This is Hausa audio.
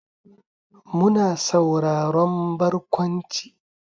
Muna sauraron barkwanci.